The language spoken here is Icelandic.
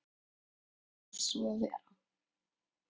Varð svo að vera.